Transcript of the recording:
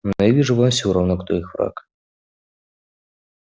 но я вижу вам всё равно кто их враг